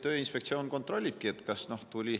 Tööinspektsioon nii kontrollibki.